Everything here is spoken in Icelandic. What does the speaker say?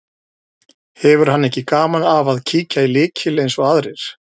Hefur hann ekki gaman af að kíkja í lykil eins og aðrir.